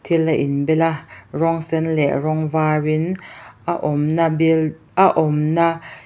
thil a in bel a rawng sen leh rawng var in a awmna buil a awmna--